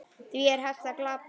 Því er hægt að glata!